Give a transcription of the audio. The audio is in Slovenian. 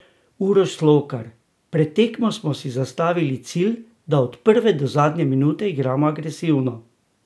Uroš Slokar: "Pred tekmo smo si zastavili cilj, da od prve do zadnje minute igramo agresivno.